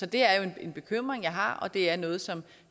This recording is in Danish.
det er en bekymring jeg har og det er noget som